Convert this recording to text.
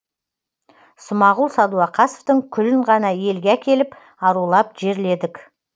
смағұл сәдуақосовтың күлін ғана елге әкеліп арулап жерледік